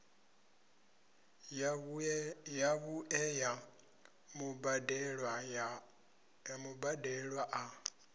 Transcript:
ya vhuṋe ya mubadelwa a